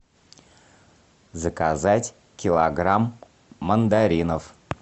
заказать килограмм мандаринов